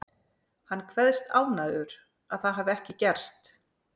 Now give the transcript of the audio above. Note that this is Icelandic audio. Hann kveðst ánægður að það hafi ekki gerst.